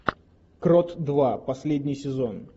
крот два последний сезон